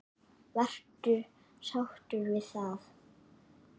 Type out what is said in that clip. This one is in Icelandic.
Varstu sáttur við það?